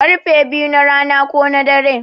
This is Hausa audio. Karfe biyu na rana ko na dare